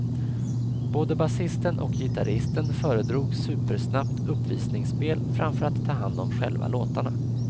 Både basisten och gitarristen föredrog supersnabbt uppvisningsspel framför att ta hand om själva låtarna.